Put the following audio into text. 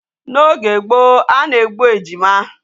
N'oge gboo a na-egbu ejima.